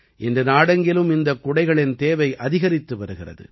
இன்று நாடெங்கிலும் இந்தக் குடைகளின் தேவை அதிகரித்து வருகிறது